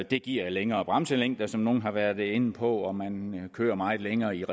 det giver længere bremselængde som nogle har været inde på og man kører meget længere i